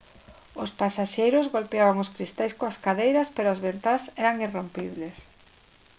os pasaxeiros golpeaban os cristais coas cadeiras pero as ventás eran irrompibles